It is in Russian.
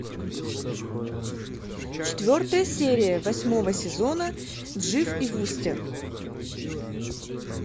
четвертая серия восьмого сезона дживс и вустер